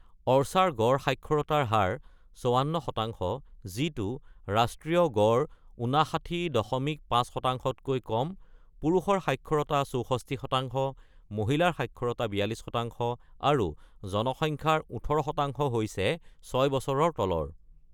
Archer গড় সাক্ষৰতাৰ হাৰ ৫৪%, যিটো ৰাষ্ট্ৰীয় গড় ৫৯.৫%তকৈ কম: পুৰুষৰ সাক্ষৰতা ৬৪%, মহিলাৰ সাক্ষৰতা ৪২%, আৰু জনসংখ্যাৰ ১৮% হৈছে ৬ বছৰৰ তলৰ।